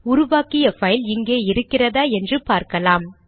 உருவாக்கிய பைல் இங்கே இருக்கிறதா என்று பார்க்கலாம்